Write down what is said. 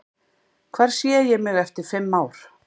Hvar sé ég mig eftir fimm ár?